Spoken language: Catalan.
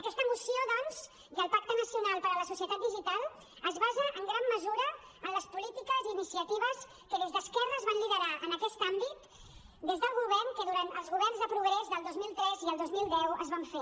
aquesta moció i el pacte nacional per a la societat digital es basen en gran mesura en les polítiques i iniciatives que des d’esquerra es van liderar en aquest àmbit des del govern que durant els governs de progrés del dos mil tres i el dos mil deu es van fer